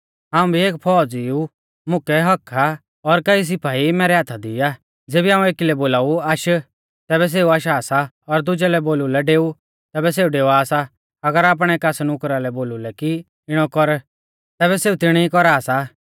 हाऊं भी एक फौज़ीऊ मुकै हक्क्क आ और कई सिपाई मैरै हाथा दी आ ज़ेबी हाऊं एकी लै बोलाऊ आश तैबै सेऊ आशा सा और दुजै लै बोलु लै डेऊ तैबै डेवा सा अगर आपणै कास नुकरा लै बोलु लै कि इणौ कर तैबै सेऊ तिणी कौरा सा